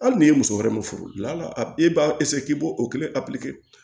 Hali n'i ye muso wɛrɛ ma furu e b'a k'i bo o kelen